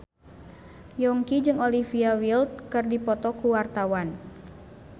Yongki jeung Olivia Wilde keur dipoto ku wartawan